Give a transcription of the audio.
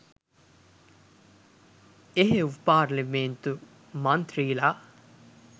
එහෙව් පාර්ලිමේන්තු මන්ත්‍රීලා